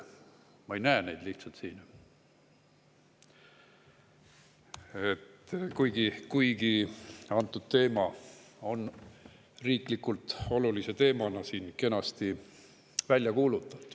Ma ei näe neid lihtsalt siin, kuigi antud teema on riiklikult olulise kenasti välja kuulutatud.